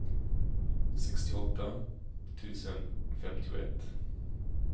sextioåtta tusen femtioett